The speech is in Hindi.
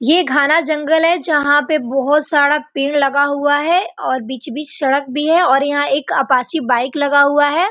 ये घाना जंगल है जहाँ पे बहुत सारा पेड़ लगा हुआ हैं और बीच-बीच सड़क भी है और यहाँ पे एक अपाचे बाइक लगा हुआ है।